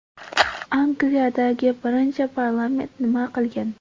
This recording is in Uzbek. Angliyadagi birinchi parlament nima qilgan?